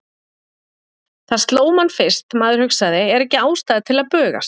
Það sló mann fyrst, maður hugsaði, er ekki ástæða til að bugast?